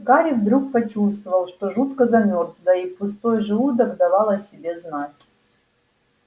гарри вдруг почувствовал что жутко замёрз да и пустой желудок давал о себе знать